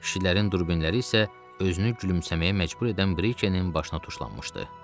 Kişilərin durbinləri isə özünü gülümsəməyə məcbur edən Brikenin başına tuşlanmışdı.